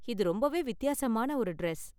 இது ரொம்பவே வித்தியாசமான ஒரு டிரஸ்.